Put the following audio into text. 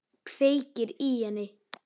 Kveikir í henni.